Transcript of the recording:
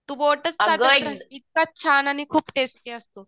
तू बोटच चाटत राहशील इतका छान आणि टेस्टी असतो.